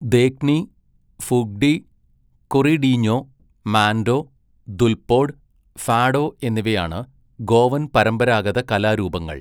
ദേഖ്നി, ഫുഗ്ഡി, കൊറിഡീഞ്ഞോ, മാൻഡോ, ദുൽപോഡ്, ഫാഡോ എന്നിവയാണ് ഗോവൻ പരമ്പരാഗത കലാരൂപങ്ങൾ.